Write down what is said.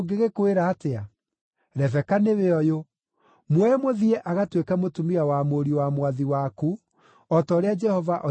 Rebeka nĩwe ũyũ; muoe mũthiĩ agatuĩke mũtumia wa mũriũ wa mwathi waku, o ta ũrĩa Jehova oigĩte.”